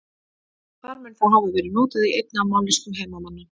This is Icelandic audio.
þar mun það hafa verið notað í einni af mállýskum heimamanna